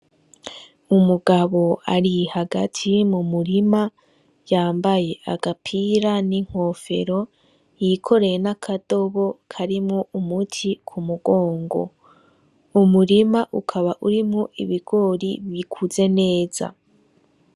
Umugabo ari hagati mu murima yambaye agapira ,n'inkofero yikoreye n'akadobo karimwo umuti kumugongo. Umurima ukaba urimwo ibigori bikuze neza.